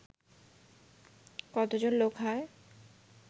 কতজন লোক হয়